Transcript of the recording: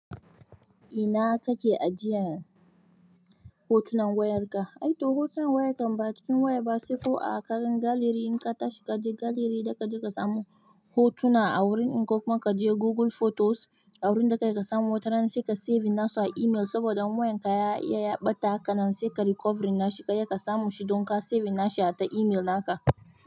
Ina ka ke ajin hotunan wayan ka aito hotunan waya kan ba cikin waya ba, sai ko a kan gallery in ka tashi ka je gallery zaka je ka samu hotuna a wurin, in ko kuma ka je Google Photos, wurin dakai ka samu, wataran sai ka save nasu a email saboda in wayan ka ya iya ya ɓata hakanan sai kai recovery nashi, kai ya ka samu shi don ka save nashi a ta email naka.